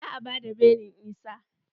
Za a bada belin Isah.